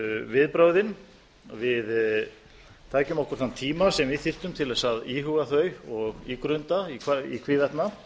viðbrögðin tækjum okkur þann tíma sem við þyrftum til að íhuga þau og ígrunda í hvívetna